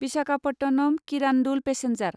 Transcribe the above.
Visakhapatnam Kirandul passenger